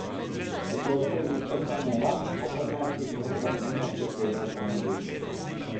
Otroško igrišče sameva, po petnajstih minutah mimo pripelje avtomobil.